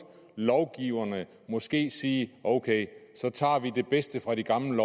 lovgiverne måske sige ok så tager vi det bedste fra de gamle